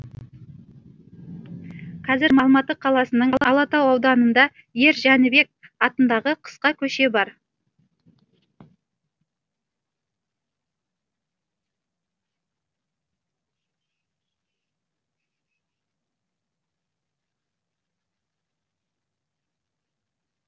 қазір алматы қаласының алатау ауданында ер жәнібек атындағы қысқа көше бар